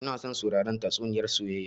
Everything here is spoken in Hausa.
Ina son sauraren tatsuniyar soyayya